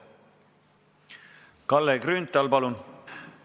Kalle Grünthal, palun!